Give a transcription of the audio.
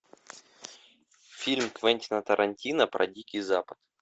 фильм квентина тарантино про дикий запад